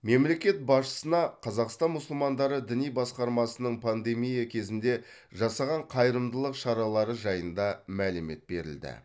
мемлекет басшысына қазақстан мұсылмандары діни басқармасының пандемия кезінде жасаған қайырымдылық шаралары жайында мәлімет берілді